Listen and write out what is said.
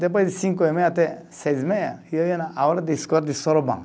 Depois de cinco e meia até seis e meia, eu ia na aula de escola de soroban.